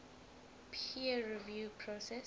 peer review process